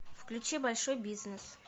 включи большой бизнес